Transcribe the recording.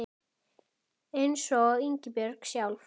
Einsog Ísbjörg sjálf.